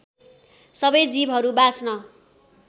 सबै जीवहरू बाँच्न